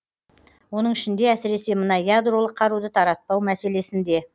оның ішінде әсіресе мына ядролық қаруды таратпау мәселесінде